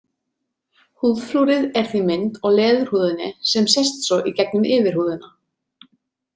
Húðflúrið er því mynd á leðurhúðinni sem sést svo í gegnum yfirhúðina.